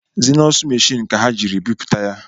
Zenọsụ machiini ka ha jiri bịpụta ya